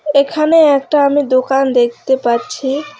এখানে একটা আমি দোকান দেখতে পাচ্ছি।